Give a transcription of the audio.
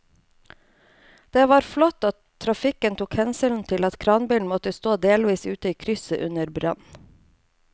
Det var flott at trafikken tok hensyn til at kranbilen måtte stå delvis ute i krysset under brannen.